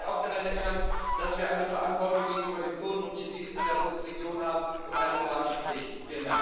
Ich möchte Sie auch daran erinnern, dass wir eine Verantwortung gegenüber den Kurden und Jesiden in der Region und eine moralische Pflicht haben.